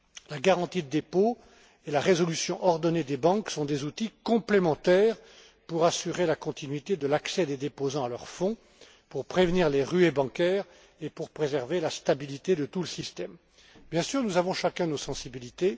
La garantie des dépôts et la résolution ordonnée des banques sont des outils complémentaires pour assurer la continuité de l'accès des déposants à leurs fonds, prévenir les ruées bancaires et préserver la stabilité de tout le système. Bien sûr, nous avons chacun nos sensibilités.